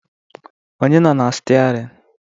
Onye nọ na stiarin?